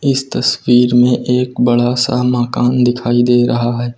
इस तस्वीर में एक बड़ा सा मकान दिखाई दे रहा है।